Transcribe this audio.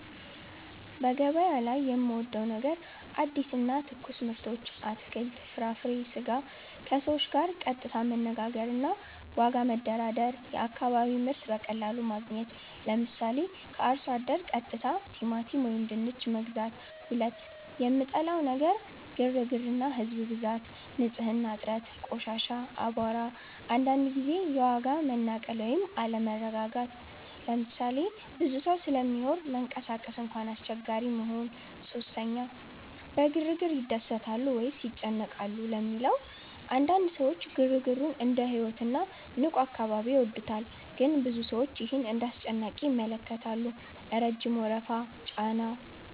) በገበያ ላይ የምወዴው ነገር አዲስ እና ትኩስ ምርቶች (አትክልት፣ ፍራፍሬ፣ ስጋ) ከሰዎች ጋር ቀጥታ መነጋገር እና ዋጋ መደራደር የአካባቢ ምርት በቀላሉ ማግኘት 👉 ምሳሌ፦ ከአርሶ አደር ቀጥታ ቲማቲም ወይም ድንች መግዛት 2) የምጠላው ነገር ግርግር እና ህዝብ ብዛት ንጽህና እጥረት (ቆሻሻ፣ አቧራ) አንዳንድ ጊዜ የዋጋ መናቀል ወይም አለመረጋጋት ምሳሌ፦ ብዙ ሰው ስለሚኖር መንቀሳቀስ እንኳን አስቸጋሪ መሆን 3) በግርግር ይደሰታሉ ወይስ ይጨነቃሉ ለሚለው? አንዳንድ ሰዎች ግርግሩን እንደ ሕይወት እና ንቁ አካባቢ ይወዱታል ግን ብዙ ሰዎች ይህን እንደ አስጨናቂ ይመለከታሉ (ረጅም ወረፋ፣ ጫና)